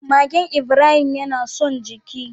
Magen Ibrahim yana son jiki.